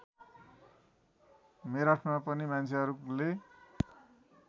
मेरठमा पनि मान्छेहरूले